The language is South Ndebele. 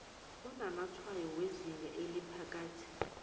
onamatshwayo wezinga eliphakathi